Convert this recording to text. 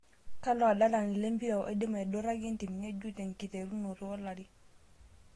Kalo adalani lempira oidim aiduraki entim ng'ejuk tenkiterunoto olari